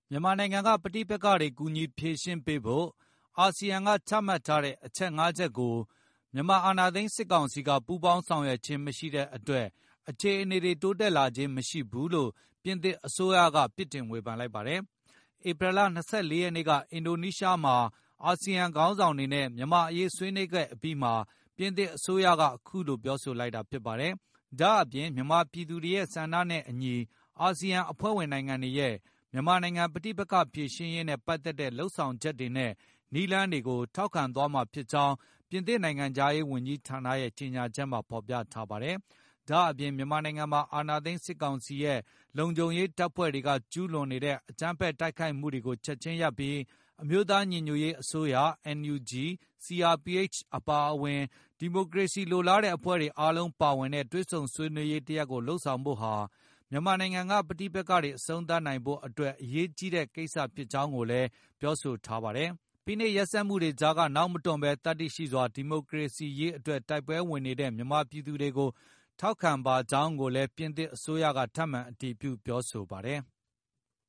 မြန်မာနိုင်ငံက ပဋိပက္ခတွေ ကူညီဖြေရှင်းပေးဖို့ ASEAN ကချမှတ်ထားတဲ့ အချက် ၅ ချက် ကို မြန်မာ အာဏာသိမ်း စစ်ကောင်စီက ပူးပေါင်းဆောင်ရွက်ခြင်း မရှိတဲ့အတွက် အခြေ အနေတွေ တိုးတက်လာခြင်း မရှိဘူးလို့ ပြင်သစ် အစိုးရက ပြစ်တင်ဝေဖန်လိုက်ပါတယ်။ ဧပြီလ ၂၄ ရက်နေ့က အင်ဒိုနီးရှားမှာ အာဆီယံ ခေါင်းဆောင်တွေနဲ့ မြန်မာ့အရေး ဆွေး နွေးခဲ့အပြီးမှာ ပြင်သစ်အစိုးရက အခုလို ပြောဆိုလိုက်တာ ဖြစ်ပါတယ်။ ဒါ့အပြင် မြန်မာ ပြည်သူတွေရဲ့ ဆန္ဒနဲ့အညီ အာဆီယံ အဖွဲ့ဝင်နိုင်ငံတွေရဲ့ မြန်မာနိုင်ငံ ပဋိပက ္ခဖြေရှင်းရေးနဲ့ ပတ်သက်တဲ့ လုပ်ဆောင်ချက်တွေနဲ့ နည်းလမ်းတွေကို ထောက်ခံသွားမှာဖြစ်ကြောင်း ပြင်သစ်နိုင်ငံခြားရေးဝန်ကြီးဌာနရဲ့ ကြေညာချက်မှာ ဖေါ်ပြထားပါတယ်။ ဒါ့အပြင် မြန်မာနိုင်ငံမှာ အာဏာသိမ်းစစ်ကောင်စီရဲ့ လုံခြုံရေး တပ်ဖွဲ့တွေက ကျူးလွန် နေတဲ့ အကြမ်းဖက် တိုက်ခိုက်မှုတွေကို ချက်ချင်း ရပ်ဆိုင်းပြီး အမျိုးသားညီညွတ်ရေး အစိုးရ NUG ၊ CRPH အပါ၊ ဒီမိုကရေစီလိုလားတဲ့ အဖွဲ့တွေ အားလုံးပါဝင်တဲ့ တွေ့ဆုံ ဆွေးနွေးရေး တရပ် လုပ်ဆောင်ဖို့ဟာ မြန်မာနိုင်ငံက ပဋိပက္ခတွေ အဆုံးသတ်နိုင်ဖို့ အတွက်အရေးကြီးတဲ့ ကိစ္စဖြစ်ကြောင်းကိုလည်း ပြောဆိုထားပါတယ်။ ဖိနှိပ်ရက်စက်မှုတွေကြားက နောက်မတွန့်ဘဲ သတ္တိရှိစွာ ဒီမိုကရေစီ ရေးအတွက်တိုက်ပွဲဝင်နေတဲ့ မြန်မာပြည်သူတွေကို ထောက်ခံပါကြောင်းကိုလည်း ပြင်သစ်အစိုးရက ထပ်မံ အတည်ပြုပြောဆိုပါတယ်။